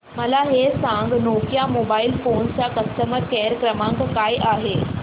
मला हे सांग नोकिया मोबाईल फोन्स चा कस्टमर केअर क्रमांक काय आहे